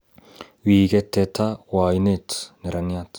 Wii ket teta kwo ainet neraniat